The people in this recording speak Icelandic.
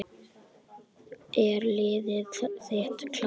Er liðið þitt klárt?